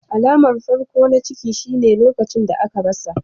Alamar farko na ciki shine lokacin da aka rasa.